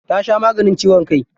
Ta sha maganin ciwon kai.